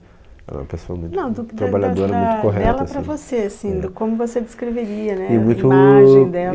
Ela é uma pessoa muito... ela para você, assim, do como você descreveria, né, a imagem dela.